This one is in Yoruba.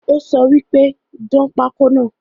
Ó sọ wípé ‘dán pako náà "